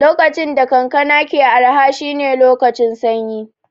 Lokacin da kankana ke araha shine lokacin sanyi